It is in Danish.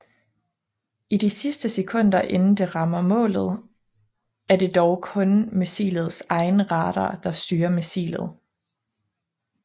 I de sidste sekunder inden det rammer målet er det dog kun missilets egen radar der styrer missilet